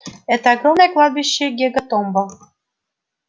это огромное кладбище гекатомба